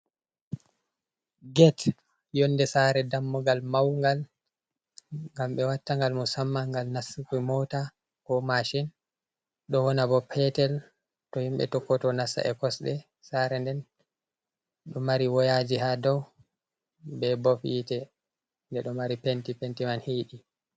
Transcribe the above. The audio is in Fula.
Get yonde sare dammugal maugal ngam ɓe watta gal musamma gal nastuki mota, ko mashin, ɗo wana bo petel to himɓɓe tokkoto nasa e kosɗe, sare nden ɗo mari woyaji ha dow be bof yitte nde ɗo mari penti, penti man hiɗi.